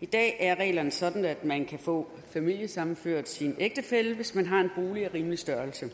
i dag er reglerne sådan at man kan få familiesammenført sin ægtefælle hvis man har en bolig af rimelig størrelse